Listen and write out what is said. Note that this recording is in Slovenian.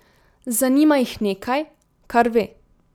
Zanima jih nekaj, kar ve.